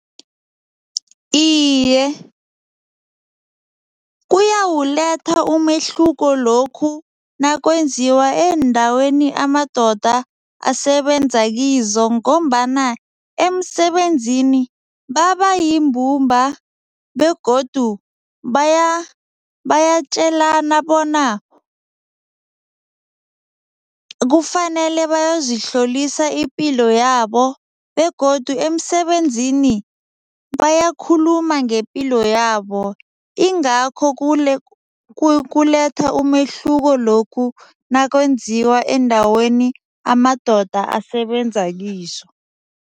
Iye, kuyawuletha umehluko lokhu nakwenziwa eendaweni amadoda asebenza kizo ngombana emsebenzini babayimbumba begodu bayatjelana bona kufanele bayozihlolisa ipilo yabo begodu emisebenzini bayakhuluma ngepilo yabo ingakho kuletha umehluko lokhu nakwenziwa eendaweni amadoda asebenza kizo.